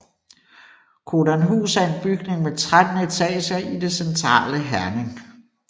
Codanhus er en bygning med 13 etager i det centrale Herning